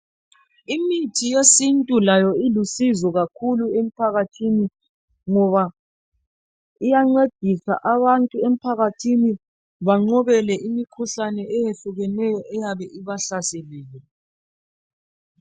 imithi yesintu layo ilusizo kakhulu emphakathini ngoba iyancedisa abantu emphakathini banqobele imikhuhlane eyehlukeneyo eyabe ibahlaselile